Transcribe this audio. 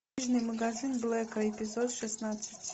книжный магазин блэка эпизод шестнадцать